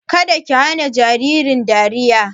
Kada ki hana jaririn dariya!